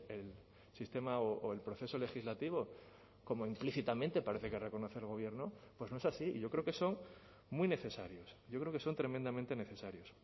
el sistema o el proceso legislativo como implícitamente parece que reconoce el gobierno pues no es así y yo creo que son muy necesarios yo creo que son tremendamente necesarios